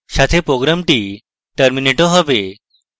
সাথে program terminated হবে